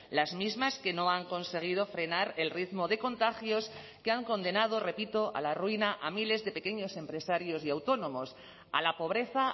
las mismas que no han conseguido frenar el ritmo de contagios que han condenado repito a la ruina a miles de pequeños empresarios y autónomos a la pobreza